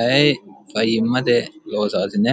aye fayyimmate loosaasine